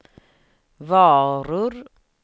varor